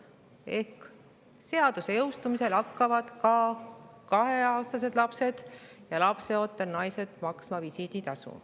Ehk seaduse jõustumisel hakkavad ka kaheaastased lapsed ja lapseootel naised maksma visiiditasu.